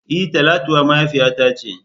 E! Talatuwa mahaifiyata ce.